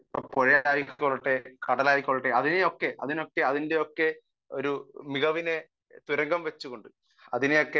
speaker 1 പുഴ ആയിക്കൊള്ളട്ടെ കടൽ ആയിക്കൊള്ളട്ടെ ഒരു മികവിനെ ഒക്കെ തുരങ്കം വച്ചുകൊണ്ട്